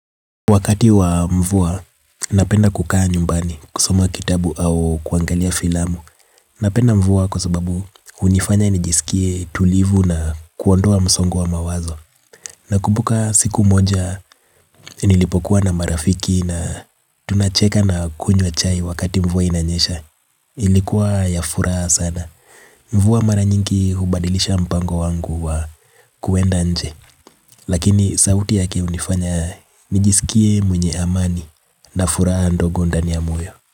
Wakati wa mvua, napenda kukaa nyumbani, kusoma kitabu au kuangalia filamu. Napenda mvua kwa sababu hunifanya nijisikie tulivu na kuondoa msongo wa mawazo nakumbuka siku moja nilipokuwa na marafiki na tunacheka na kunywa chai pamoja. Ilikuwa ya furaha sana. Mvua mara nyingi hubadilisha mpango wangu wa kuenda nje. Lakini sauti yake hunifanya nijisikie mwenye amani na furaha ndogo ndani ya moyo.